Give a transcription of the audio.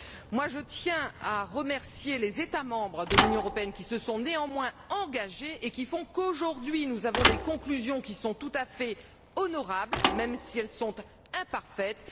Moi, je tiens à remercier les États membres de l'Union européenne qui se sont néanmoins engagés et qui font qu'aujourd'hui, nous avons des conclusions qui sont tout à fait honorables, même si elles sont imparfaites.